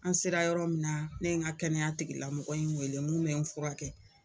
An sera yɔrɔ min na ne ye n ka kɛnɛya tigi lamɔgɔ in wele mun bɛ n fura kɛ.